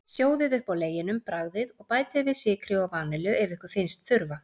Sjóðið upp á leginum, bragðið, og bætið við sykri og vanillu ef ykkur finnst þurfa.